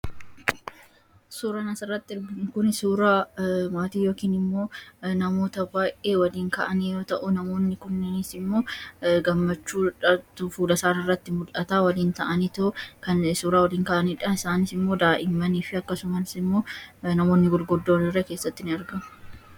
Suuraan asii gaditti hojjatamu suuraa maatii yookaan namoota baay'ee waliin kunis immoo gammachuu isaanii waliin ta'anii kan suuraa waliin ka'anidha. Isaanis immoo daa'immanii fi akkasumas immoo namoonni gurguddoon illee keessatti ni argamu.